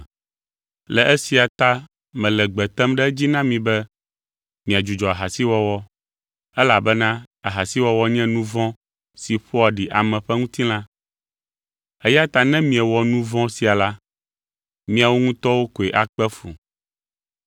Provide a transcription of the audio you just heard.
Le esia ta mele gbe tem ɖe edzi na mi be miadzudzɔ ahasiwɔwɔ elabena ahasiwɔwɔ nye nu vɔ̃ si ƒoa ɖi ame ƒe ŋutilã. Eya ta ne miewɔ nu vɔ̃ sia la, miawo ŋutɔwo koe akpe fu.